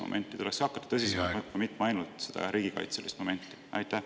… et tuleks hakata tõsisemalt võtma seda tervisemomenti, mitte ainult riigikaitselist momenti?